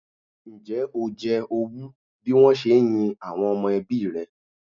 Ǹjẹ́ o jẹ owú bí wọ́n se ń yin àwọn ọmọ ẹbí rẹ?